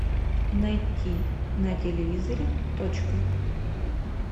найти на телевизоре точка